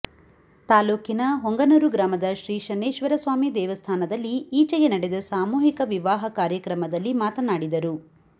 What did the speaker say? ತಾಲ್ಲೂಕಿನ ಹೊಂಗನೂರು ಗ್ರಾಮದ ಶ್ರೀ ಶನೇಶ್ವರಸ್ವಾಮಿ ದೇವಸ್ಥಾನದಲ್ಲಿ ಈಚೆಗೆ ನಡೆದ ಸಾಮೂಹಿಕ ವಿವಾಹ ಕಾರ್ಯಕ್ರಮದಲ್ಲಿ ಮಾತನಾಡಿದರು